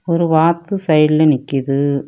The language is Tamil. ஒரு வாத்து சைடுல நிக்குது.